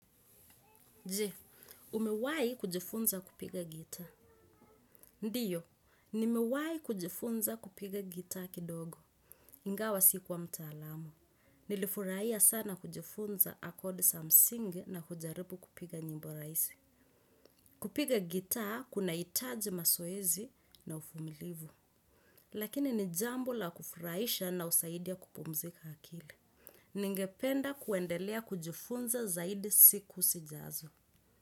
Je, umewai kujifunza kupiga gitaa? Ndiyo, nimewai kujifunza kupiga gitaa kidogo. Ingawa sikuwa mtaalamu. Nilifurahia sana kujifunza akodi za msingi na kujaribu kupiga nyimbo rahisi. Kupiga gitaa kuna hitaji masoezi na uvumilivu. Lakini ni jambo la kufurahisha na husaidia kupumzika akili. Ningependa kuwendelea kujifunza zaidi siku sijazo.